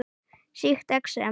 Sýkt exem